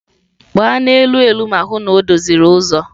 Gbaa n'elu elu ma hụ na o doziri ụzọ!.